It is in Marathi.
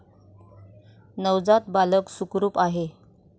नवजात बालक सुखरूप आहे.